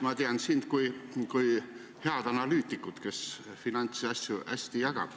Ma tean sind kui head analüütikut, kes jagab finantsasju hästi.